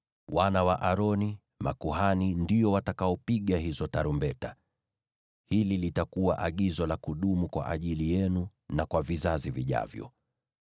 “Wana wa Aroni, makuhani, ndio watakaopiga hizo tarumbeta. Hili litakuwa agizo la kudumu kwa ajili yenu na kwa vizazi vijavyo.